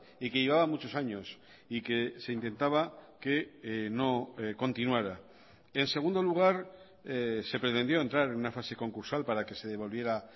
y que llevaba muchos años y que se intentaba que no continuara en segundo lugar se pretendió entrar en una fase concursal para que se devolviera